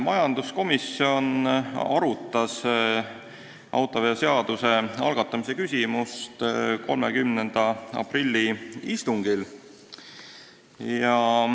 Majanduskomisjon arutas autoveoseaduse muutmise seaduse eelnõu algatamist 30. aprilli istungil.